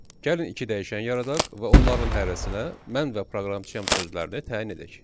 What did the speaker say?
Gəlin iki dəyişən yaradaq və onların hərəsinə mən və proqramçıyam sözlərini təyin edək.